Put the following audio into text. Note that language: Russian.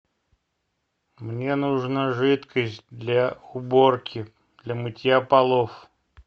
мне нужна жидкость для уборки для мытья полов